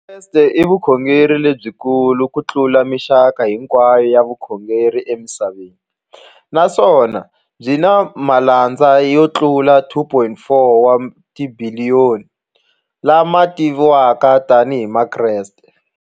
Vukreste i vukhongeri lebyi kulu kutlula mixaka hinkwayo ya vukhongeri emisaveni, naswona byi na malandza yo tlula 2.4 wa tibiliyoni, la ma tiviwaka tani hi Vakreste.